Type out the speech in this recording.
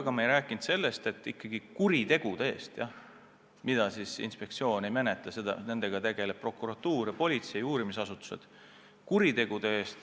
Aga ma ei rääkinud sellest, et kuritegudega, mida inspektsioon ei menetle, tegelevad prokuratuur ja politsei, uurimisasutused.